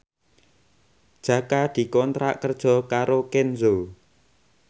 Jaka dikontrak kerja karo Kenzo